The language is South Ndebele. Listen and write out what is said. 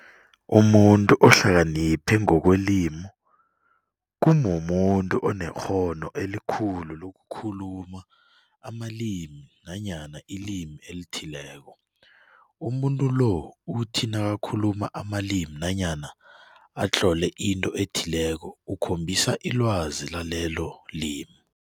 Umuntu ohlakaniphe ngokwelimi kumumuntu onekghono elikhulu lokukhuluma amalumi nanyana ilimi elithileko. umunntu lo uthi nakakhuluma amalimi nanyana atlole into ethileko ukhombisa ilwazi lalelo limi.